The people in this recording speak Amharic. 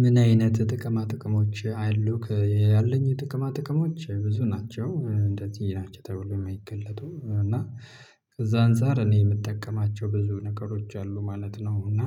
ምን አይነት ጥቅማ ጥቅሞች አሉክ ያለኝ ጥቅማ ጥቅሞች ብዙ ናቸው እንደዚህ ናቸው ተብሎ የማይገለጡ እና ከዛ አንፃር እኔ የምጠቀማቸው ብዙ ነገሮች አሉ ማለት ነው። እና